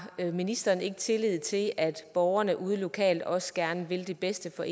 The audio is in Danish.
ministeren ikke tillid til at borgerne ude lokalt også gerne vil det bedste for